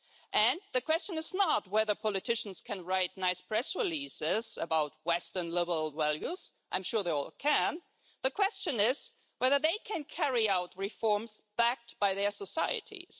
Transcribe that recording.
And the question is not whether politicians can write nice press releases about Western liberal values I'm sure they all can the question is whether they can carry out reforms backed by their societies.